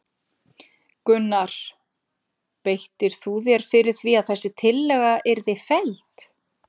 Gunnar: Beittir þú þér fyrir því að þessi tillaga yrði felld?